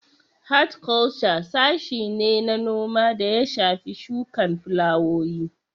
Hatkwalca sashe ne na noma da ya shafi shukan filawowi